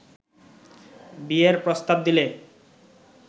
বিয়ের প্রস্তাব দিলে